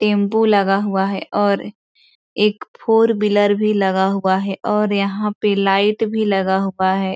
Tempo लगा हुआ है और एक फोर व्हीलर भी लगा हुआ है और यहाँ पे लाइट भी लगा हुआ है।